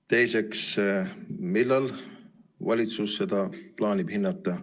Teiseks, millal valitsus seda plaanib hinnata?